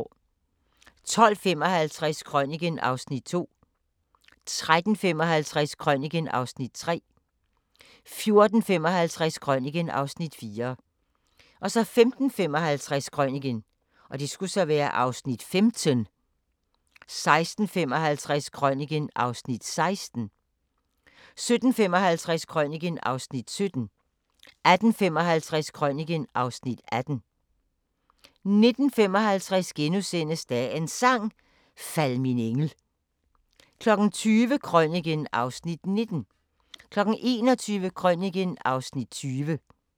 12:55: Krøniken (Afs. 2) 13:55: Krøniken (Afs. 3) 14:55: Krøniken (Afs. 4) 15:55: Krøniken (Afs. 15) 16:55: Krøniken (Afs. 16) 17:55: Krøniken (Afs. 17) 18:55: Krøniken (Afs. 18) 19:55: Dagens Sang: Fald min engel * 20:00: Krøniken (Afs. 19) 21:00: Krøniken (Afs. 20)